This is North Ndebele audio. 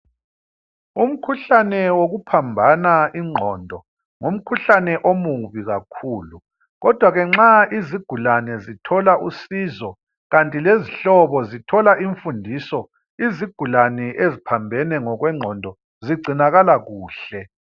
Umkhuhlane wokuphambana ingqondo ngumkhuhlane omubi kakhuku kodwa ke nxa izigulane zithola usizo kanti lezihlobo zithola imfundiso izigulane eziphambene ngokwengqondo zigcinakala kuhle.